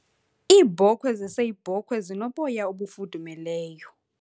Iibhokhwe zeseyibhokhwe zinoboya ofudumeleyo.